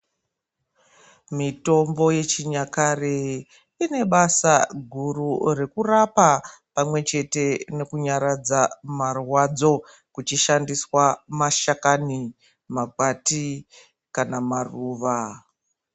Mitimbo yechinyakare inebasa guru rekurapa pamwe chete nekunyaradza marwadzo ,kuchi shandiswa mashakani makwati kana maruva.